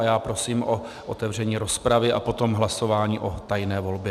A já prosím o otevření rozpravy a potom hlasování o tajné volbě.